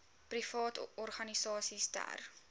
private organisasies ter